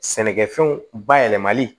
Sɛnɛkɛfɛnw bayɛlɛmali